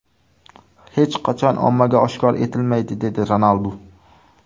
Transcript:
Hech qachon ommaga oshkor etilmaydi” dedi Ronaldu.